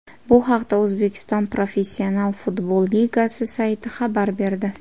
Bu haqda O‘zbekiston professional futbol ligasi sayti xabar berdi .